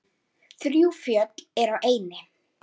Þrjú fjöll eru á eynni.